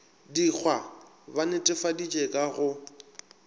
dikgwa ba netefaditše ka go